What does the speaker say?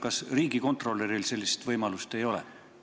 Kas riigikontrolöril sellist võimalust ei ole?